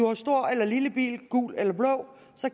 har stor eller lille bil gul eller blå